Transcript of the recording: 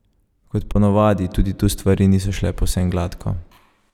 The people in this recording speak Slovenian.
Kot ponavadi, tudi tu stvari niso šle povsem gladko.